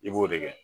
I b'o de kɛ